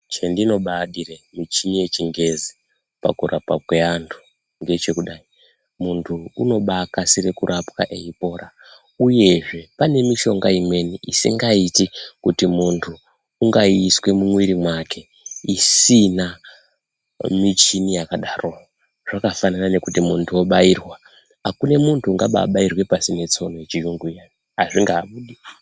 Chandinobadire muchini yechingezi pakurapwe kwevantu ndechekudai muntu unobakasira kurapwa eipona uyezve pane mushonga imweni isingaiti kuti muntu ungaiiswe mumuiri make isina muchini yakadaro zvakanaka nekuti muntu obairwa hakuna muntu ungababairwa pasina tsono yechiyungu iya hazvingabudi.